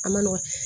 A ma nɔgɔ